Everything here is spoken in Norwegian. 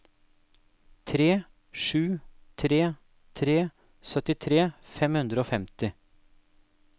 tre sju tre tre syttitre fem hundre og femti